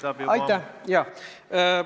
Härra Ligi, aitab juba!